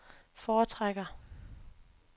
foretrækker